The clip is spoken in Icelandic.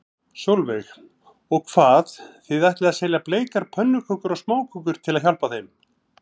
Sólveig: Og hvað, þið ætlið að selja bleikar pönnukökur og smákökur til að hjálpa þeim?